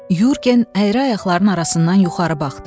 Yurgen əyri ayaqlarının arasından yuxarı baxdı.